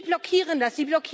Sie blockieren das!